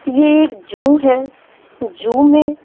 ये एक जू है जू में--